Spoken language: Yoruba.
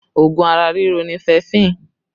Oògùn ara riro ni fẹẹfin